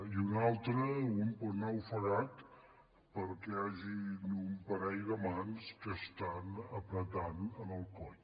i una altra un pot anar ofegat perquè hi hagin un parell de mans que apreten el coll